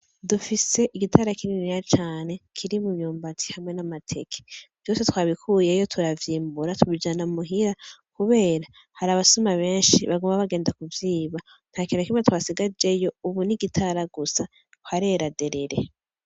Dufise igitara kininiya cane ,kirimwo imyumbati hamwe n'amateke vyose twabikuyeyo turavyimbura tubijana muhira kubera harabasuma benshi baguma bagenda kuvyiba nana kimwe twabasigarijeyo ubu n'igitara gusa harera derere.